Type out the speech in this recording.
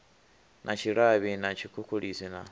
na tshilavhi na tshikhukhulisi na